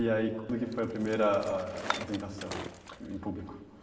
E aí, quando que foi a primeira ah apresentação em público?